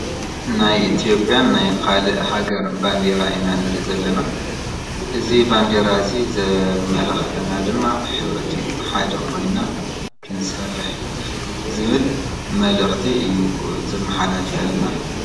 ናይ ኢቲዮጲያን ናይ ኻልእ ሃገር ባንዴራ ኢና ንርኢ ዘለና። እዚ ባንዴራ እዚ ዘመላኽተና ድማ ሕብረት እዩ። ብሓደ ኾይንና ክንሰርሕ ኢና ዝብል መልእኽቲ እዩ ዘመሓላልፈልና።